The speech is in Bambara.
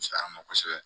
Feyan ma kosɛbɛ